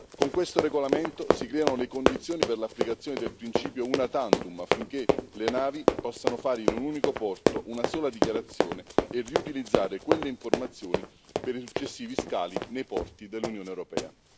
Con questo regolamento si creano le condizioni per l'applicazione del principio una tantum affinché le navi possano fare in un unico porto una sola dichiarazione e riutilizzare quelle informazioni per i successivi scali nei porti dell'Unione europea.